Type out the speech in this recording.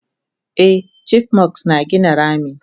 Eh chipmunks na gina rami